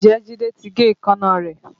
Ǹjẹ́ Jide ti gé èékánná rẹ̀?